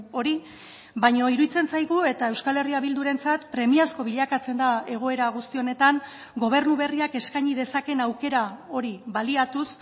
hori baina iruditzen zaigu eta euskal herria bildurentzat premiazko bilakatzen da egoera guzti honetan gobernu berriak eskaini dezakeen aukera hori baliatuz